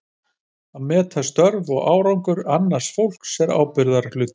Að meta störf og árangur annars fólks er ábyrgðarhluti.